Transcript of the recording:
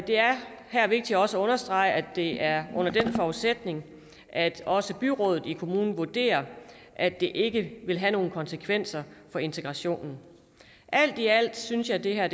det er her vigtigt også at understrege at det er under den forudsætning at også byrådet i kommunen vurderer at det ikke vil have nogen konsekvenser for integrationen alt i alt synes jeg det her